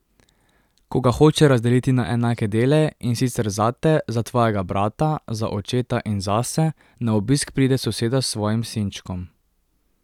Ko ga hoče razdeliti na enake dele, in sicer zate, za tvojega brata, za očeta in zase, na obisk pride soseda s svojim sinčkom.